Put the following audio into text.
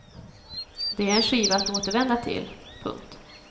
Det är en skiva att återvända till. punkt